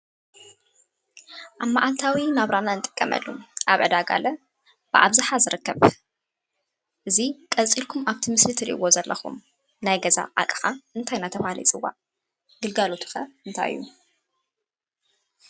አብ መዓልታዊ ናብራና እንጥቀመሉ አብ ዕዳጋለ ብአብዝሓ ዝርከብ እዚ ቀፂልኩም አብቲ ምስሊ እትሪኢዎ ዘለኹም ናይ ገዛ አቅሓ እንታይ እናተብሃለ ይፅዋዕ? ግልጋሎቱ ኸ እንታይ እዩ?